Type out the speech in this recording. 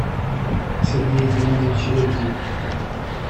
сергее геннадьевиче лебедеве